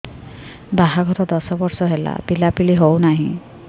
ବାହାଘର ଦଶ ବର୍ଷ ହେଲା ପିଲାପିଲି ହଉନାହି